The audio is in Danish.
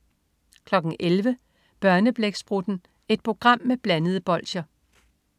11.00 Børneblæksprutten. Et program med blandede bolsjer